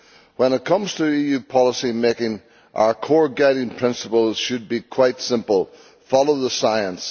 When it comes to EU policy-making our core guiding principles should be quite simple follow the science.